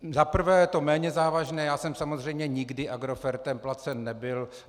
Za prvé, je to méně závažné, já jsem samozřejmě nikdy Agrofertem placen nebyl.